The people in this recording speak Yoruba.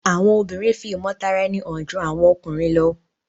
Àwọn obìrin fi imotaraeni hàn jù àwọn ọkùnrin ló